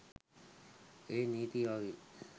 ඒත් නීතිය වගේ